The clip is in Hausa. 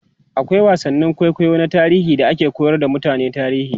akwai wasannin kwaikwayo na tarihi da ake koyar da mutane tarihi